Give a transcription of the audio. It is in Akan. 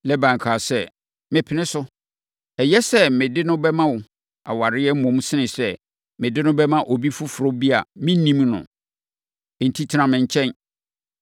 Laban kaa sɛ, “Mepene so! Ɛyɛ sɛ mede no bɛma wo aware mmom sene sɛ mede no bɛma obi foforɔ bi a mennim no. Enti, tena me nkyɛn.”